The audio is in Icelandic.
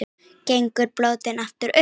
Gengur bótin inn frá strönd.